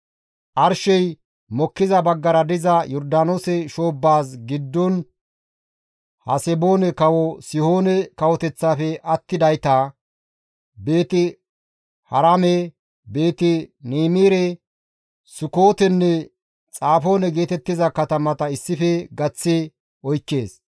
arshey mokkiza baggara diza Yordaanoose shoobbaas giddon Haseboone kawo Sihoone kawoteththafe attidayta, Beeti-Haraame, Beeti-Niimire, Sukootenne Xafoone geetettiza katamata issife gaththi oykkees.